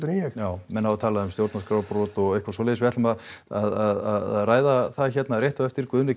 en ég já menn hafa talað um stjórnarskrárbrot og eitthvað svoleiðis við ætlum að að ræða það hérna rétt á eftir Guðni